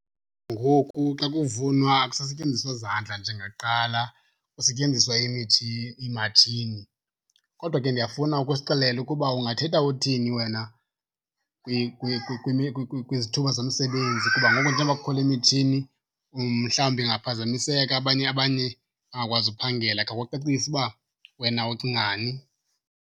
Ngoku xa kuvunwa akusasetyenziswa zandla njengakuqala, kusetyenziswa iimatshini. Kodwa ke ndiyafuna uke usixelele ukuba ungathetha uthini wena kwizithuba zemisebenzi, kuba ngoku njengoba kukho le mitshini umhlawumbi ingaphazamiseka abanye, abanye bangakwazi uphangela. Khawucacise uba wena ucingani.